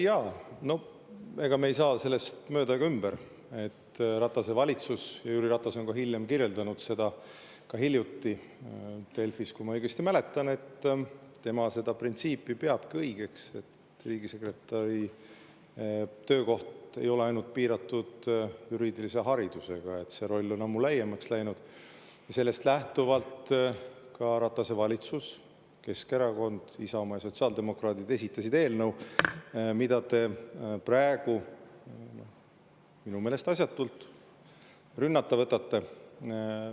Jaa, ega me ei saa sellest üle ega ümber, et Ratase valitsus – Jüri Ratas on ka hiljem kirjeldanud seda, ka hiljuti Delfis, kui ma õigesti mäletan, et tema peabki seda printsiipi õigeks, et riigisekretäri töökoht ei ole piiratud juriidilise haridusega, kuna see roll on ammu laiemaks läinud –, Keskerakond, Isamaa ja sotsiaaldemokraadid, esitasid eelnõu, mida te praegu – minu meelest asjatult – rünnata võtate.